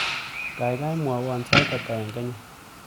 Gaigai mwawon sait ata eng Kenya